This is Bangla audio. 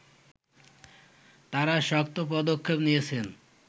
তারা শক্ত পদক্ষেপ নিয়েছেন